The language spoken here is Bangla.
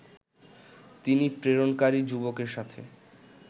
তিনি প্রেরণকারী যুবকের সাথে